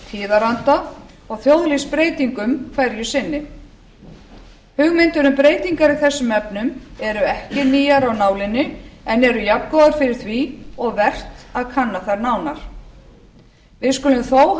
tíðaranda og þjóðlífsbreytingum hverju sinni hugmyndir um breytingar í þessum efnum eru ekki nýjar af nálinni en eru jafngóðar fyrir því og vert að kanna þær nánar við skulum þó hafa í huga að